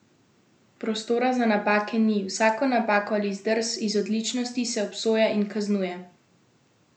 Prostora za napake ni, vsako napako ali zdrs iz odličnosti se obsoja in kaznuje.